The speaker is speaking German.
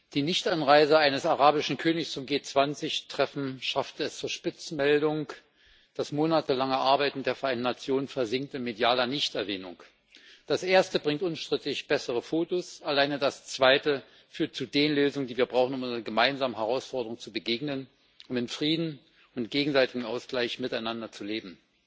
Die Nichteinreise eines arabischen Königs zum G20 Treffen schaffte es zur Spitzenmeldung, das monatelange Arbeiten der Vereinten Nationen versinkt in medialer Nichterwähnung. Das Erste bringt unstrittig bessere Fotos. Alleine das Zweite führt zu den Lösungen, die wir brauchen, um unseren gemeinsamen Herausforderungen zu begegnen, um in Frieden und gegenseitigem Ausgleich miteinander zu leben.